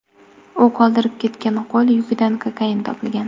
U qoldirib ketgan qo‘l yukidan kokain topilgan.